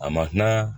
A ma kuma